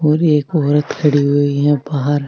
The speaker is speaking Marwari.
और एक औरत खड़ी हुई है बाहर।